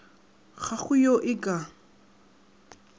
ga go yo e ka